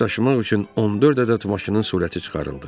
Daş daşımaq üçün 14 ədəd maşının sürəti çıxarıldı.